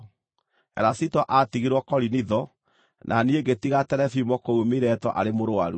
Erasito aatigirwo Korinitho, na niĩ ngĩtiga Terefimo kũu Mileto arĩ mũrũaru.